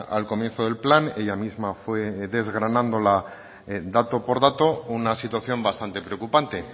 al comienzo del plan ella misma fue desgranándola dato por dato una situación bastante preocupante